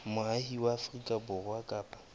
moahi wa afrika borwa kapa